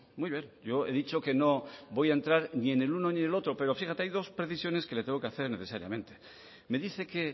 muy bien yo he dicho que no voy a entrar ni en el uno ni en el otro pero fíjate hay dos precisiones que le tengo que hacer necesariamente me dice que